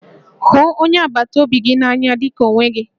Hụ onye agbataobi gị n'anya dị ka onwe gị